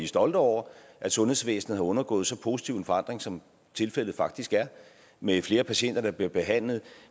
stolte over at sundhedsvæsenet har undergået en så positiv forandring som tilfældet faktisk er med flere patienter der bliver behandlet